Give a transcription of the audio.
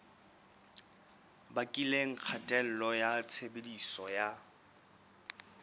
bakileng kgatello ya tshebediso ya